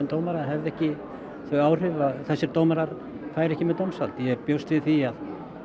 dómara hefðu ekki þau áhrif á að þessir dómarar færu ekki með dómsvald ég bjóst við því að